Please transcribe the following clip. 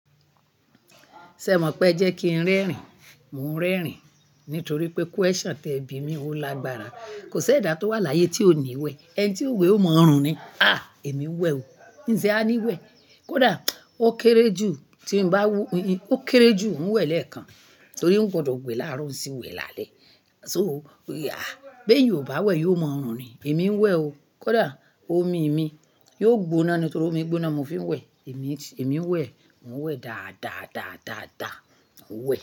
Ṣé o mọ̀ pé ẹ jẹ́ kí n rẹ́rìn, mo ń rẹ́rìn nítorí pé question tí ẹbí mi ó lágbára. Kò sí ẹ̀dà tó wà láyé tí ó nìwẹ̀. Ẹni tí òwe ó mọ ọ̀rùn ni. Ah! Èmi ń wẹ̀ o. Ǹse a ní ìwẹ̀? Kódà ó kéré jù, tí n bá wú ó kéré jù, n wẹ́ lẹ́ẹ̀kan torí ó gbọdọ̀ gbé láàárọ̀ sì wẹ làálẹ́. So, Bí eyan o bá wẹ̀ yóò mọrùn ni. Èmi ń wẹ̀ o. Kódà omi mi yóò gbóná nítorí omi gbóná mo fi ń wẹ̀. Èmi, èmi ń wẹ̀, mo ń wẹ̀ dáadáa, dáadáa, dà. Wẹ̀